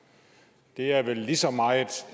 det er er vel lige så meget